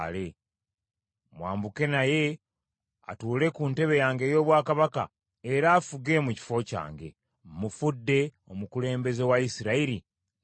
Mwambuke naye, atuule ku ntebe yange ey’obwakabaka era afuge mu kifo kyange. Mmufudde omukulembeze wa Isirayiri ne Yuda.”